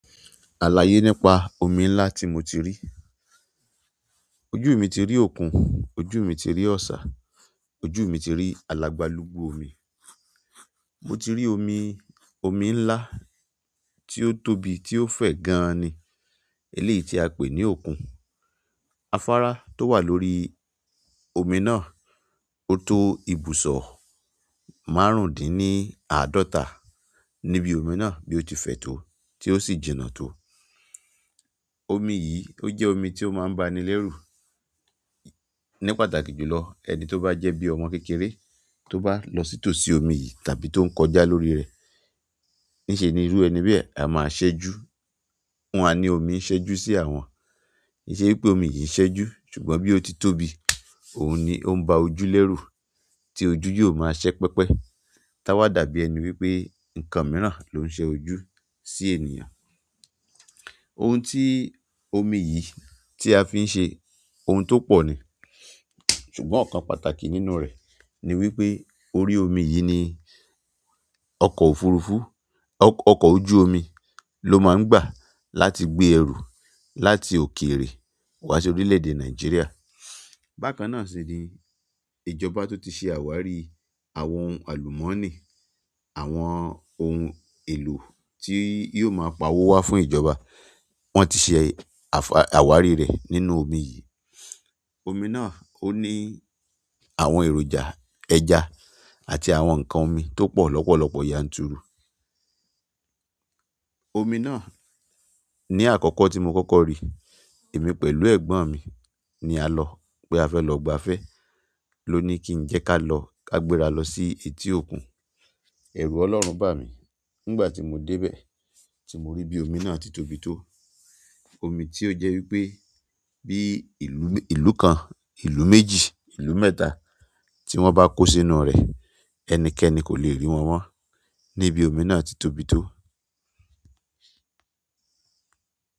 Àlàyé nípa omi ńlá tí mo ti rí. Ojú mi ti rí òkun, ojú mi ti rí ọ̀sà, ojú mi ti rí alàgbàlúgbú omi. Mo ti rí omi, omi ńlá tí ó tóbi, tí ó fẹ̀ gan an ni, eléyìí tí a pè ní òkun. Afárá tó wà lórí omi náà, ó to ibùsọ̀ márùndínní àádọ́ta níbi omi náà bí ó ti fẹ tó tí ó sì jìnà tó. Omi yìí, ó jẹ́ omi tí ó máa ń ba ni lérù. Ní pàtàkì jù lọ, ẹni tí ó bá jẹ́ bí ọmọ kékeré tí ó bá lọ sí tòsí omi yìí tàbí tó ń kọjá lórí rẹ̀, níṣe ni irú ẹni bí ẹ a máa ṣẹ́jú. Wọ́n á ni omi ń ṣẹ́jú sí àwọn. Kì í ṣe wípé omi yìí ń ṣẹ́jú ṣùgbọ́n bí ó ti tóbi, òun ni ó ń ba ojú lérù tí ojú yóò máa ṣẹ́ pẹpẹ. Táwa dàbí ẹni wípé nǹkan mìíràn ló ń ṣe ojú sí ènìyàn. Ohun tí omi yìí tí a fi ń ṣe, ohun tó pọ̀ ni. Ṣùgbọ́n ọkàn pàtàkì nínú rẹ ni wípé orí omi yì ní ọkọ òfurufú ọkọ ojú omi ló máa ń gbà láti gbé ẹrù láti òkèèrè wà sí orílẹ̀-èdè Nàìjíríà. Bákan náà sì ní ìjọba tún tí ṣe àwárí àwọn ohun alumoni àwọn ohùn èlò tí yó má pawo wà fún ìjọba. Wọ́n ti ṣe àwárí rẹ̀ nínú omi yìí. Omi náà ó ní àwọn èròjà ẹja àti àwọn ǹkan omi tó pọ̀ lọ́pọ̀lọpọ̀ yanturu. Omi náà ní àkọ́kọ́ tí mo kọ́kọ́ rí, èmi pẹ̀lú ẹ̀gbọ́n mi ni a lọ pé a fẹ́ lọ gbafẹ́ ló ní kí n jẹ́ ká lọ ká gbéra lọ sí etí òkun. Ẹ̀rù Ọlọ́run bà mí nígbà tí mo dé bẹ̀ tí mo rí bí omi náà ti tóbi tó. Omi tí ó jẹ́ wípé bí ìlú kan, ìlú méjì, ìlú mẹ́ta tí wọ́n bá kó sínú rẹ̀ ẹnikẹ́ni kò le rí wọn mọ́ níbi omi náà tí ó tóbi tó.